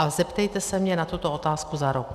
A zeptejte se mne na tuto otázku za rok.